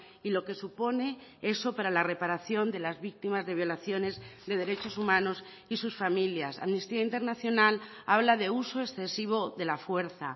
y lo que supone eso para la reparación de las víctimas de violaciones de derechos humanos y sus familias amnistía internacional habla de uso excesivo de la fuerza